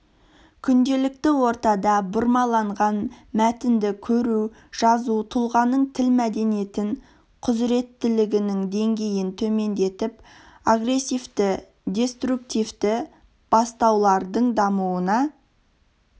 күнделікті ортада бұрмаланған мәтінді көру жазу тұлғаның тіл мәдениетін құзыреттілігінің деңгейін төмендетіп агрессивті деструктивті бастаулардың дамуына